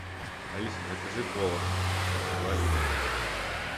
алиса закажи кола два литра